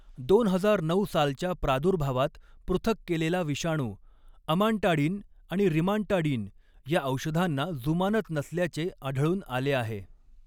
दोन हजार नऊ सालच्या प्रादुर्भावात पृथक केलेला विषाणू, अमांटाडिन आणि रिमांटाडिन या औषधांंना जुमानत नसल्याचे आढळून आले आहे.